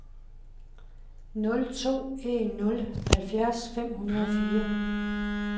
nul to en nul halvfjerds fem hundrede og fire